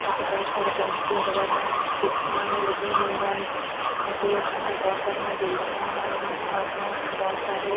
ਅਤੇ ਬਹੁਤ ਸਾਰੇ ਪੰਛੀ ਉੱਡ ਰਹੇ ਹਨ ਕਿਸ਼ਤੀਆਂ ਵੀ ਲੱਗੀਆਂ ਹੋਈਆਂ ਹਨ ਅਤੇ ਸਾਹਮਣੇ ਬਹੁਤ ਸਾਰੀਆਂ ਬਿਲਡਿੰਗਾਂ ਵੀ ਹਨ ਬਹੁਤ ਸਾਰੇ--